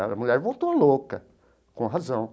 A mulher voltou louca, com razão.